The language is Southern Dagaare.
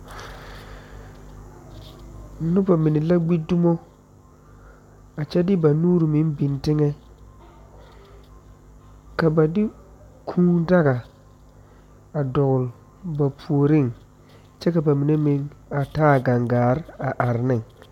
Nuba mene la gbi dumo a kye de ba nuuri meng bing tenga ka ba de kũũ daga a doɔle ba pourinkye ka ba mene meng a taa gang gaa a arẽ ne.